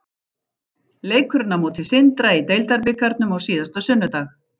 Leikurinn á móti Sindra í deildarbikarnum á síðasta sunnudag.